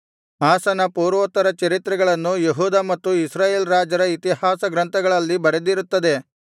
ಆಸನ ಪೂರ್ವೋತ್ತರಚರಿತ್ರೆಗಳನ್ನು ಯೆಹೂದ ಮತ್ತು ಇಸ್ರಾಯೇಲ್ ರಾಜರ ಇತಿಹಾಸ ಗ್ರಂಥಗಳಲ್ಲಿ ಬರೆದಿರುತ್ತದೆ